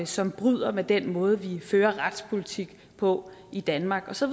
som bryder med den måde vi fører retspolitik på i danmark så